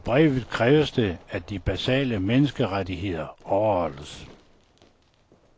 I brevet kræves det, at de basale menneskerettigheder overholdes.